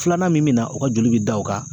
Filanan min bɛ na o ka joli bɛ da o kan